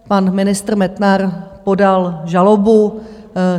Pan ministr Metnar podal žalobu.